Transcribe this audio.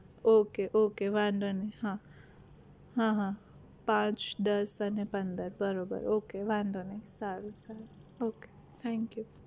okay okay વાંધો નહિ હા હા હા પાંચ દસ અને પંદર બરોબર okay વાંધો નહિ સારું સારું okay thank you